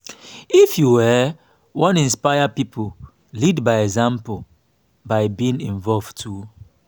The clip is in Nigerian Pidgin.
if you um wan wan inspire pipo lead by example by being involved too